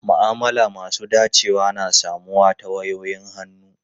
Ma'amala masu dacewa na samuwa ta wayoyin hannu.